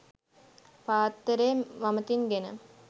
පාත්තරය වමතින් ගෙන